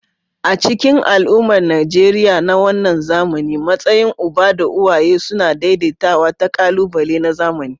A cikin al'ummar Najeriya na wannan zamani, matsayin uba da uwaye suna daidaitawa da ƙalubale na zamani.